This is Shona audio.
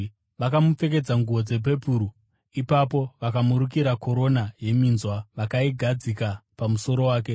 Vakamupfekedza nguo dzepepuru, ipapo vakamurukira korona yeminzwa vakaigadzika pamusoro wake.